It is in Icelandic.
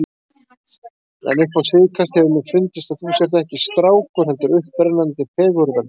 En upp á síðkastið hefur mér fundist að þú sért ekki strákur, heldur upprennandi fegurðardís.